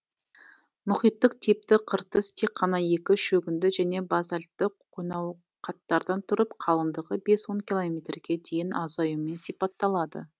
мұхиттық типті қыртыс тек қана екі шөгінді және базальтті қонауқаттардан тұрып қалыңдығы бес он километрге дейін азаюымен сипатталады